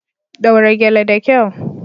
Daura gele da kyau.